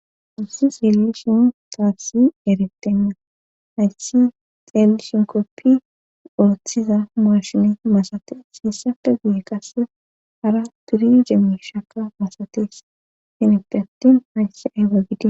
Ussi s eelli shin taassi erettenna hayssi xeelli shinkoppi urothiza marshine masate hiessafe guye qasse hara turi jemmi shaka masates hinippeattin hayssi ayba gide.